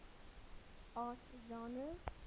art genres